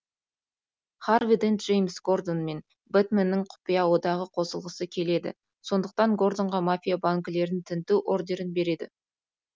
харви дент джеймс гордон мен бэтменнің құпия одағына қосылғысы келеді сондықтан гордонға мафия банкілерін тінту ордерін береді